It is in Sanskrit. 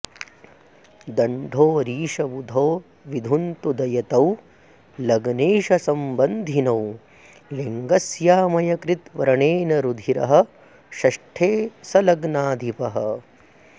धण्ढोऽरीशबुधौ विधुन्तुदयुतौ लग्नेशसम्बधिनौ लिङ्गस्यामयकृद् व्रणेन रुधिरः षष्ठे सलग्नाधिपः